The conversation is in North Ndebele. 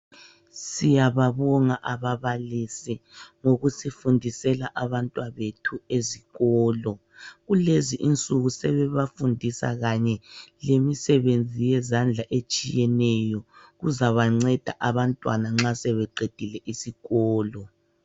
Siyababonga ababalisi ngokusifundisela abantwabethu ezikolo, kulezi insuku sebebafundisa kanye lemsebenzi yezandla etshiyeneyo kuzabanceda abantwana nxa sebeqedile isikolo.